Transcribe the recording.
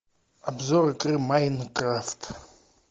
обзор игры майнкрафт